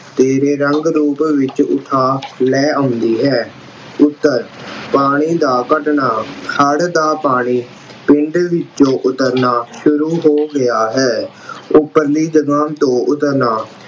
ਤੇਰੇ ਰੰਗ-ਰੂਪ ਵਿੱਚ ਉਠਾ ਲੈ ਆਉਂਦੀ ਹੈ। ਉਤਰ, ਪਾਣੀ ਦਾ ਘੱਟਣਾ ਹੜ੍ਹ ਦਾ ਪਾਣੀ ਪਿੰਡ ਵਿੱਚੋਂ ਉਤਰਨਾ ਸ਼ੁਰੂ ਹੋ ਗਿਆ ਹੈ। ਉੱਪਰਲੀ ਦੁਕਾਨ ਤੋਂ ਉੱਤਰਨਾ